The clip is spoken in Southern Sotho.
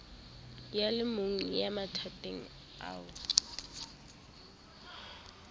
a lemong ya mathateng ao